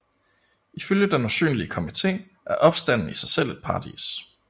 Ifølge den usynlige komité er opstanden i sig selv paradis